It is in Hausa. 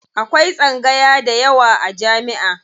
Akwai tsangaya dayawa a jami'a.